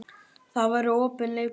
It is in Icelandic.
Það verður opinn leikur